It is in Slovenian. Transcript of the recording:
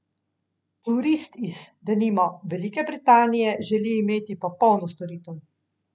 Turist iz, denimo, Velike Britanije želi imeti popolno storitev.